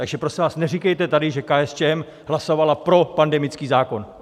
Takže prosím vás, neříkejte tady, že KSČM hlasovala pro pandemický zákon.